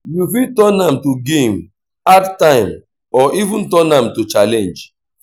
you fit turn am to game add time or even turn am to challenge